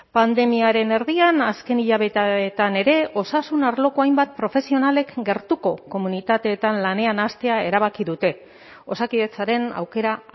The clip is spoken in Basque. pandemiaren erdian azken hilabeteetan ere osasun arloko hainbat profesionalek gertuko komunitateetan lanean hastea erabaki dute osakidetzaren aukera